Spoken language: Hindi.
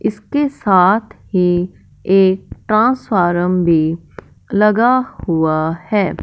इसके साथ ही एक ट्रांसफॉरम भी लगा हुआ है।